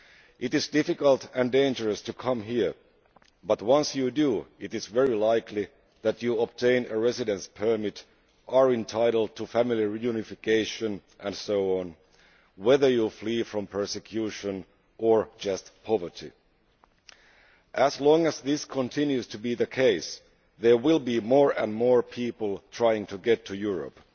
It is difficult and dangerous to come here, but once you do, it is very likely that you will obtain a residence permit, be entitled to family reunification and so on, whether you are fleeing from persecution or just from poverty. As long as this continues to be the case, there will be more and more people trying to get to Europe.